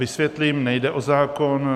Vysvětlím, nejde o zákon.